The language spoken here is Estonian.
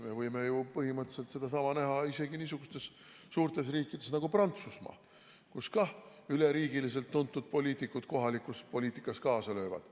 Me võime ju põhimõtteliselt sedasama näha isegi niisugustes suurtes riikides nagu Prantsusmaa, kus ka üle riigi tuntud poliitikud kohalikus poliitikas kaasa löövad.